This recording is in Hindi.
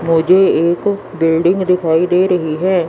मुझे एक बिल्डिंग दिखाई दे रही है।